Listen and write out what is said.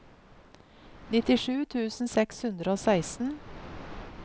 nittisju tusen seks hundre og seksten